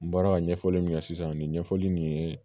N bɔra ka ɲɛfɔli min kɛ sisan nin ɲɛfɔli nin